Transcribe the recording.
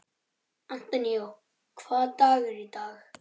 Antonio, hvaða dagur er í dag?